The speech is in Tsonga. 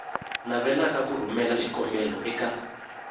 navelaka ku rhumela xikombelo eka